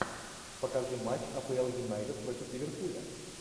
покажи матч апл юнайтед против ливерпуля